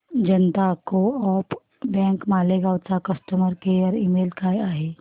जनता co op bank Malegaon चा customer care email काय आहे